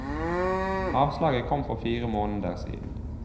Avslaget kom for fire måneder siden.